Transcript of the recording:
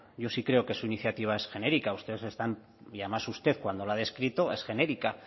yo sí creo que su iniciativa es genérica y además usted cuando la ha descrito es genérica